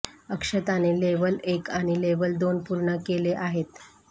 अक्षताने level एक आणि level दोन पूर्ण केले आहेत